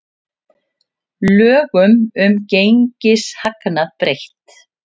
Lögum um gengishagnað breytt